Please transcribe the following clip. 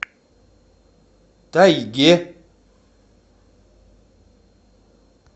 тайге